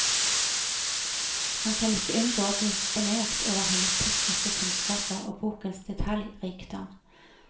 Man kan ikke unngå å bli imponert over hennes tekniske kunnskaper og bokens detaljrikdom.